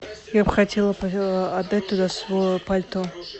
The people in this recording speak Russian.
я бы хотела отдать туда свое пальто